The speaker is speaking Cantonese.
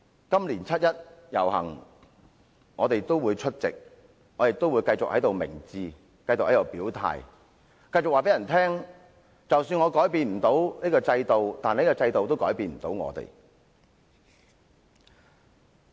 今年七一遊行，我們會繼續出席、表態、明志，繼續告訴大家，即使我們不能改變制度，但制度也改變不了我們。